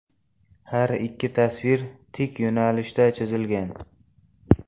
Har ikki tasvir tik yo‘nalishda chizilgan.